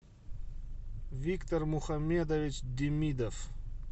виктор мухаммедович демидов